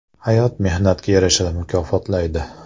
Hayot mehnatga yarasha mukofotlaydi.